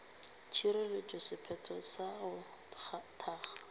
tšerego sephetho sa go kgatha